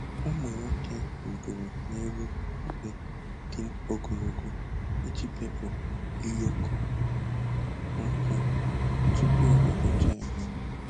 Ụmụ nwoke rịgoro n'elu ubube dị ogologo iji bepụ ụyọkọ nkwụ tupu ụbọchị ememme.